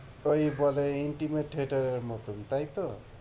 তো এই বলে intimate theatre এর মতন তাইতো?